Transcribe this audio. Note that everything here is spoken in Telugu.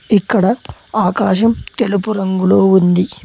ఇక్కడ ఆకాశం తెలుపు రంగులో ఉంది.